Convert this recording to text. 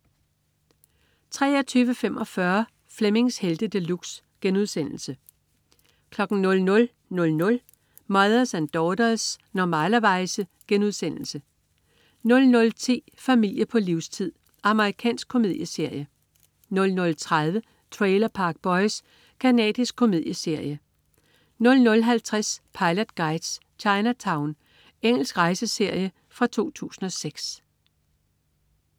23.45 Flemmings Helte De Luxe* 00.00 Mothers and Daughters. Normalerweize* 00.10 Familie på livstid. Amerikansk komedieserie 00.30 Trailer Park Boys. Canadisk komedieserie 00.50 Pilot Guides: Chinatown. Engelsk rejseserie fra 2006